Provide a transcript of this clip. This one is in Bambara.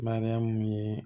Mariyamu ye